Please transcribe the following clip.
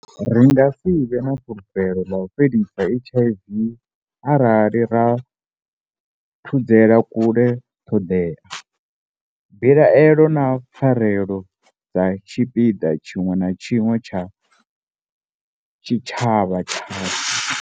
Ri nga si vhe na fulufhelo ḽa u fhelisa HIV arali ra thudzela kule ṱhoḓea, mbilaelo na pfanelo dza tshi-piḓa tshiṅwe na tshiṅwe tsha tshitshavha tshashu.